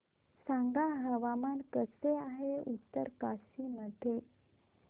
सांगा हवामान कसे आहे उत्तरकाशी मध्ये